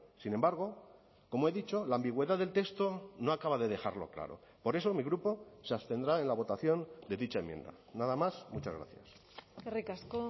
sin embargo como he dicho la ambigüedad del texto no acaba de dejarlo claro por eso mi grupo se abstendrá en la votación de dicha enmienda nada más muchas gracias eskerrik asko